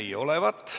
Ei näi olevat.